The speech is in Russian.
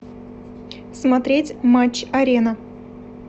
смотреть матч арена